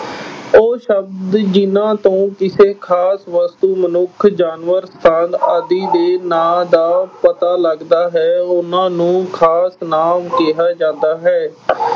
ਉਹ ਸ਼ਬਦ ਜਿਨ੍ਹਾਂ ਤੋਂ ਕਿਸੇ ਖਾਸ ਵਸਤੂ, ਮਨੁੱਖ, ਜਾਨਵਰ, ਸਥਾਨ ਆਦਿ ਦੇ ਨਾਂ ਦਾ ਪਤਾ ਲੱਗਦਾ ਹੈ, ਉਨ੍ਹਾਂ ਨੂੰ ਖਾਸ ਨਾਂਵ ਕਿਹਾ ਜਾਂਦਾ ਹੈ।